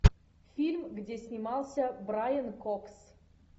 фильм где снимался брайан кокс